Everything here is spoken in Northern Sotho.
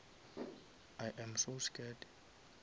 i am so scared